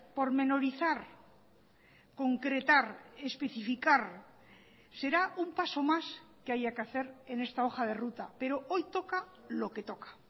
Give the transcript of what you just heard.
pormenorizar concretar especificar será un paso más que haya que hacer en esta hoja de ruta pero hoy toca lo que toca